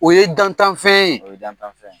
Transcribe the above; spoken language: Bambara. O ye dantan fɛn ye, o ye dantan fɛn